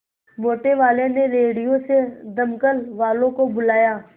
मोटेवाले ने रेडियो से दमकल वालों को बुलाया